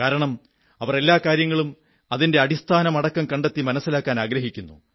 കാരണം അവർ എല്ലാ കാര്യങ്ങളെയും അതിന്റെ അടിസ്ഥാനമടക്കം കണ്ടെത്തി മനസ്സിലാക്കാനാഗ്രഹിക്കുന്നു